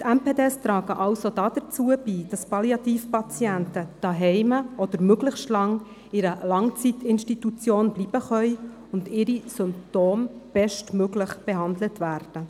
MPD tragen also dazu bei, dass Palliativpatienten daheim oder möglichst lange in einer Langzeitinstitution bleiben können und ihre Symptome bestmöglich behandelt werden.